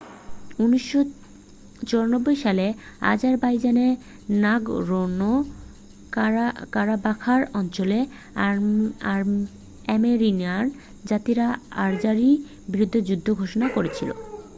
1994 সালে আজারবাইজানের নাগরোণো-কারাবাখ অঞ্চলের আর্মেনিয়ান জাতিরা আজারির বিরুদ্ধে যুদ্ধ ঘোষণা করেছিল